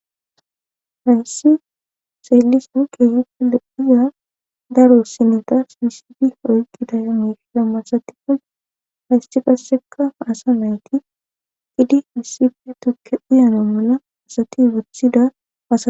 Hayssi seelisan keehuppu lehiya daro sineta sisibi oykqidaya meflammasatikon hayssi kasseka asa nayti qidi issife tukke dhiyano mula asati wuthida aa.